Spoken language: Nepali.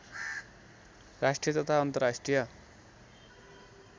राष्ट्रिय तथा अन्तर्राष्ट्रिय